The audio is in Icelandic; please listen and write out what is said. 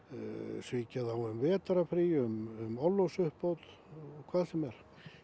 svíkja þá um vertrarfrí um orlofsuppbót og hvað sem er